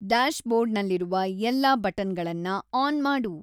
ಡ್ಯಾಶ್‌ಬೋರ್ಡ್‌ನಲ್ಲಿರುವ ಎಲ್ಲಾ ಬಟನ್‌ಗಳನ್ನ ಆನ್‌ ಮಾಡು